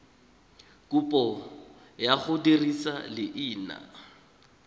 kopo ya go dirisa leina